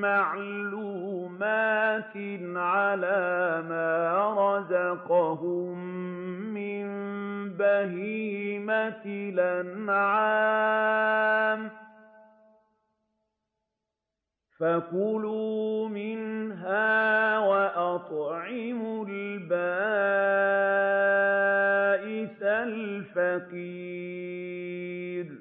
مَّعْلُومَاتٍ عَلَىٰ مَا رَزَقَهُم مِّن بَهِيمَةِ الْأَنْعَامِ ۖ فَكُلُوا مِنْهَا وَأَطْعِمُوا الْبَائِسَ الْفَقِيرَ